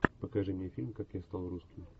покажи мне фильм как я стал русским